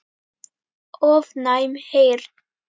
ofnæm heyrn